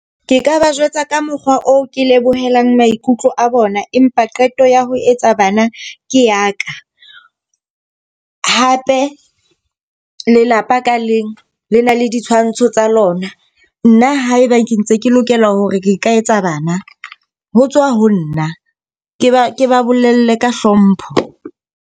Ke ka ba jwetsa ka mokgwa oo ke lebohela maikutlo a bona, empa qeto ya ho etsa bana ke ya ka. Hape lelapa ka leng le na le ditshwantsho tsa lona. Nna haeba ke ntse ke lokela hore ke ka etsa bana ho tswa ho nna. Ke ba ke ba bolelle ka hlompho.